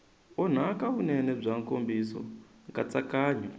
onhaka vunene bya nkomiso nkatsakanyo